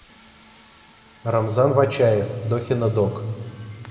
рамзан вачаев дохина дог